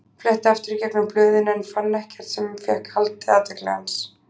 Fletti aftur í gegnum blöðin en fann ekkert sem fékk haldið athygli hans.